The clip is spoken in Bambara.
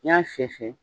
N'i y'a fiyɛ